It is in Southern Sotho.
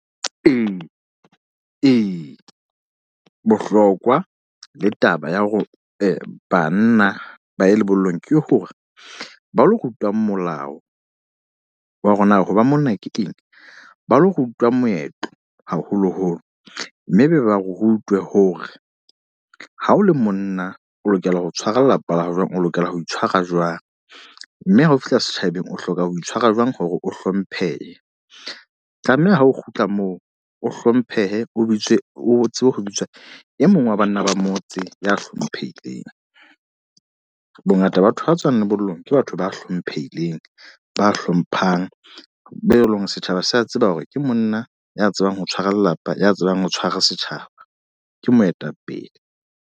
Ee, ee, bohlokwa le taba ya hore banna ba ye lebollong. Ke hore ba lo rutwang molao wa hore na hoba monna ke Keng. Ba lo rutwa moetlo, haholo-holo. Mme e be ba rutwe hore ha o le monna o lokela ho tshwara lelapa la hao jwang. O lokela ho itshwara jwang. Mme ha o fihla setjhabeng o hloka ho itshwara jwang hore o hlomphehe. Tlameha ha o kgutla moo, o hlomphe he o bitswe o tsebe ho bitswa e mong wa banna ba motse ya hlomphehileng. Bongata ba batho ba tswang lebollong, ke batho ba hlomphehileng. Ba hlomphang, be eleng hore setjhaba se a tseba hore ke monna ya tsebang ho tshwara lelapa, ya tsebang ho tshwara setjhaba. Ke moetapele.